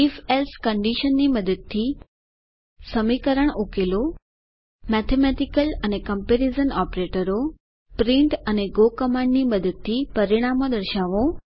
if else કન્ડીશનની મદદથી સમીકરણ ઉકેલો મેથેમેટિકલ અને કમ્પેરીઝન ઓપરેટરો પ્રિન્ટ અને ગો કમાન્ડની મદદથી પરિણામો દર્શાવો